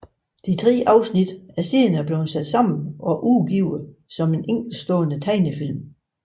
De tre afsnit er senere blevet sat sammen og udgivet som en enkeltstående tegnefilm